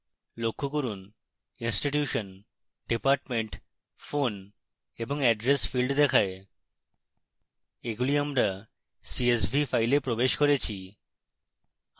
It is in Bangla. লক্ষ্য করুন institution department phone এবং address fields দেখায়